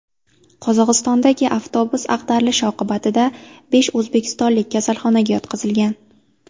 Qozog‘istondagi avtobus ag‘darilishi oqibatida besh o‘zbekistonlik kasalxonaga yotqizilgan.